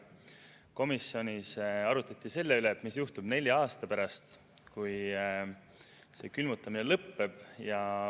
Komisjonis arutleti selle üle, mis juhtub nelja aasta pärast, kui see külmutamine lõpeb.